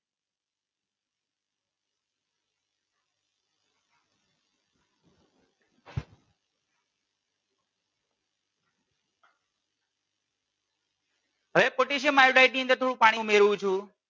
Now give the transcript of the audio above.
હવે potassium iodide ની અંદર થોડું પાણી ઉમેરું છું.